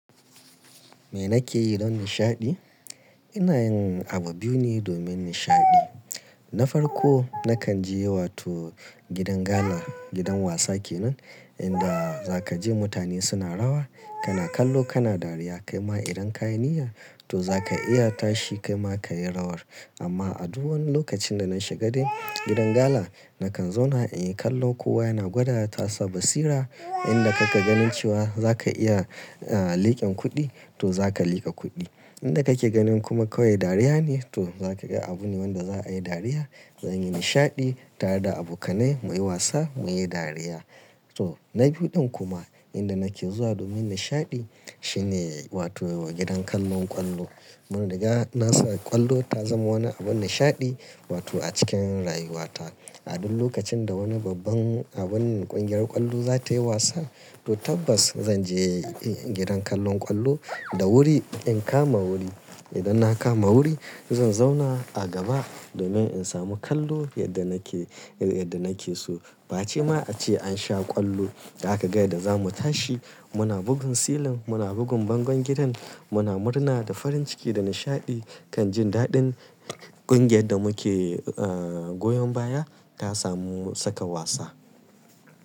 Me nake yi don nishaɗi? Ina yin abu biyu ne domin nishaɗi. Na farko, nakan je wato gidan gala, gidan wasa kenan inda za ka je mutane suna rawa, kana kallo, kana dariya. Kai ma idan ka yi niyya to za ka iya tashi kai ma ka yi rawar. Amma a duk wani lokacin da na shiga dai gidan gala, nakan zauna in kallo kowa yana gwada ya tasa basira. Inda kake ganin cewa za ka iya, liƙin kuɗi to za ka liƙa kuɗi. Inda ka ke ganin kuma kawai dariya ne, to za ka ga abun wanda za'a yi dariya. Zanyi nishaɗi tare da abokanai, mu yi wasa, mu yi dariya. To, na biyun ɗin kuma inda nake zuwa domin nishaɗi, shine wato gidan kallon ƙwallo. Mun riga na sa ƙwallo ta zama wani abin nishaɗi wato a cikin rayuwata. A duk lokacin da wani babban abin ƙungiyar ƙwallo za ta yi wasa, to tabbas zan je gidan kallon ƙwallo da wuri in kama wuri. Idan na kama wuri zan zauna a gaba, domin in samu kallo yadda nake, yadda nake so. Ba ce ma a ce an sha ƙwallo, za kaga yadda za mu tashi. Muna bugun silin, muna bugun bangon gidan, muna murna da farin ciki da nishaɗi kan jin daɗin ƙungiyar da muke, ah, goyon baya ta samu saka wasa.